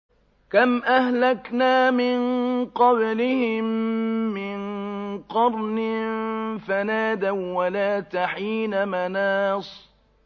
كَمْ أَهْلَكْنَا مِن قَبْلِهِم مِّن قَرْنٍ فَنَادَوا وَّلَاتَ حِينَ مَنَاصٍ